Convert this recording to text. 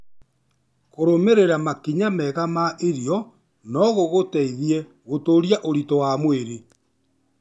Kũrũmĩrĩra makinya mega ma irio no gũgũteithie gũtũũria ũritũ wa mwĩrĩ.